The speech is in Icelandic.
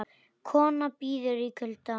Kona bíður í kulda